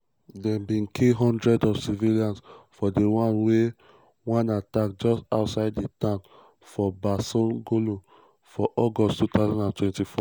dem bin kill hundreds of civilians for one for one attack just outside di town of barsalogho for august 2024.